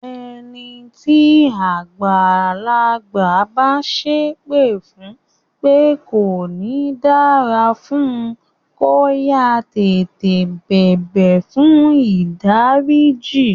Ẹni tí àgbàlagbà bá sépè fún pé kò ní dára fún, kó yáá tètè bẹ̀bẹ̀ fùn ìdáríjì.